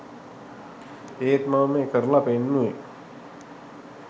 ඒත් මම මේ කරලා පෙන්නුවේ